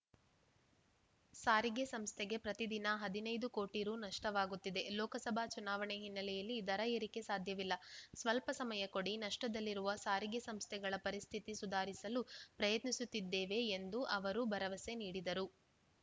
ಸಾರಿಗೆ ಸಂಸ್ಥೆಗೆ ಪ್ರತಿ ದಿನ ಹದಿನೈದು ಕೋಟಿ ರು ನಷ್ಟವಾಗುತ್ತಿದೆ ಲೋಕಸಭಾ ಚುನಾವಣೆ ಹಿನ್ನೆಲೆಯಲ್ಲಿ ದರ ಏರಿಕೆ ಸಾಧ್ಯವಿಲ್ಲ ಸ್ವಲ್ಪ ಸಮಯ ಕೊಡಿ ನಷ್ಟದಲ್ಲಿರುವ ಸಾರಿಗೆ ಸಂಸ್ಥೆಗಳ ಪರಿಸ್ಥಿತಿ ಸುಧಾರಿಸಲು ಪ್ರಯತ್ನಿಸುತ್ತೇವೆ ಎಂದು ಅವರು ಭರವಸೆ ನೀಡಿದರು